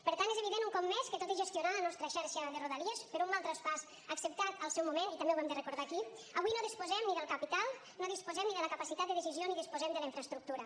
per tant és evident un cop més que tot i gestionar la nostra xarxa de rodalies per un mal traspàs acceptat al seu moment i també ho hem de recordar aquí avui no disposem ni del capital no disposem ni de la capacitat de decisió ni disposem de la infraestructura